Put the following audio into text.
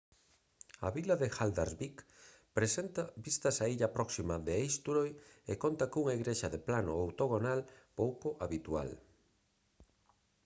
a vila de haldarsvík presenta vistas á illa próxima de eysturoy e conta cunha igrexa de plano octogonal pouco habitual